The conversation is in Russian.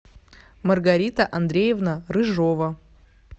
маргарита андреевна рыжова